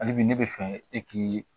Hali bi ne bɛ fɛ e k'i